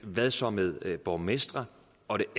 hvad så med borgmestrene og det